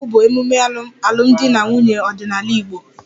Igba nkwu' bụ emume alụmdi na nwunye ọdịnala Igbo